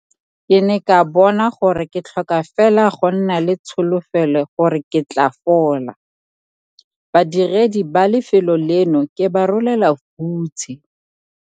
Ke ne ka bona gore ke tlhoka fela go nna le tsholofelo gore ke tla fola. Badiredi ba lefelo leno ke ba rolela hutshe!